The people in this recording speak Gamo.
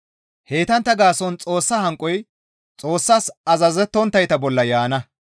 Heytantta gaason Xoossa hanqoy Xoossas azazettonttayta bolla yaana.